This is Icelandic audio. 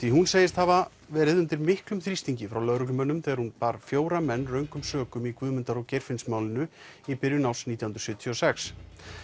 segist hafa verið undir miklum þrýstingi frá lögreglumönnum þegar hún bar fjóra menn röngum sökum í Guðmundar og Geirfinnsmálinu í byrjun árs nítján hundruð sjötíu og sex